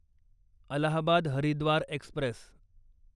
Allahabad Haridwar Express